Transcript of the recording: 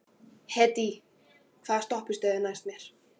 Hedí, hvaða stoppistöð er næst mér?